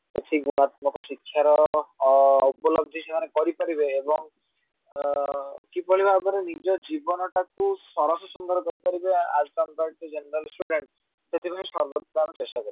ଏଠି ଗୁଣାତ୍ମକ ଶିକ୍ଷାର ଉପଲବ୍ଧି ସେମାନେ କରିପାରିବେ ଏବଂ ଆଁ କିଭଳି ଭାବରେ ନିଜ ଜୀବନଟାକୁ ସରସସୁନ୍ଦର କରିପାରିବେ ଆଉ as compare to general student ସେଥିପାଇଁ ସର୍ବଦା ଆମେ ଚେଷ୍ଟା କରିଥାଉ